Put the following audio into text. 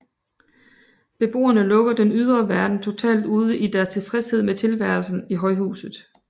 Beboerne lukker den ydre verden totalt ude i deres tilfredshed med tilværelsen i højhuset